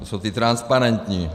To jsou ti transparentní.